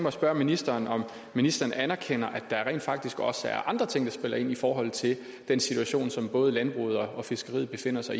at spørge ministeren om ministeren anerkender at der rent faktisk også er andre ting der spiller ind i forhold til den situation som både landbruget og fiskeriet befinder sig